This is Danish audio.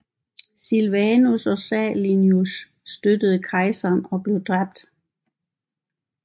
Silvanus og Salonius støttede kejseren og blev dræbt